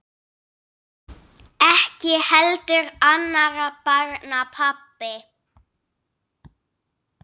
Ekki heldur annarra barna pabbi.